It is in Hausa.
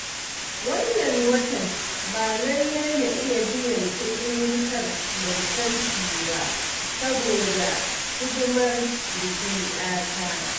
Wannan watan ba lallai na iya biyan kuɗin wutar lantarkina ba, saboda hidimar bikin 'yata